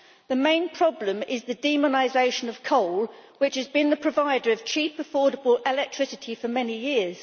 The main problem is the demonisation of coal, which has been the provider of cheap, affordable electricity for many years.